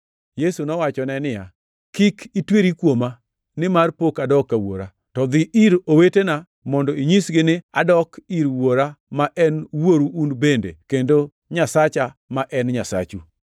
Yesu nowachone niya, “Kik itweri kuoma, nimar pok adok ka Wuora, to dhi ir owetena mondo inyisgi ni, ‘Adok ir Wuora ma en Wuoru un bende, kendo Nyasacha ma en Nyasachu.’ ”